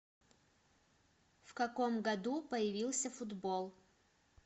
в каком году появился футбол